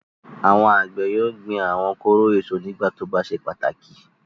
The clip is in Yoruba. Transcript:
Àwọn àgbẹ̀ yóò gbin àwọn kóró èso nígbà tí ó bá ṣe pàtàkì.